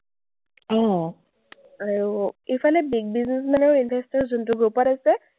আৰু ইফালে big businessman আৰু investors যোনটো group ত আছে,